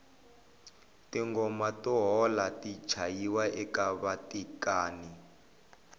tingoma to hola ti chayiwa eka vatekani